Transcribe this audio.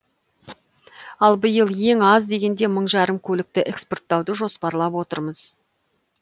ал биыл ең аз дегенде мың жарым көлікті экспорттауды жоспарлап отырмыз